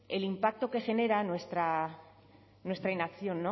el impacto que genera nuestra inacción